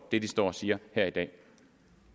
det de står og siger